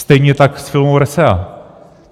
Stejně tak s firmou RESEA.